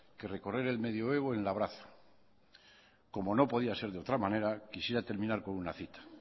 que recorrer el medioevo en labraza como no podía ser de otra manera quisiera terminar con una cita